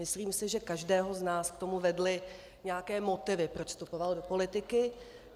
Myslím si, že každého z nás k tomu vedly nějaké motivy, proč vstupoval do politiky.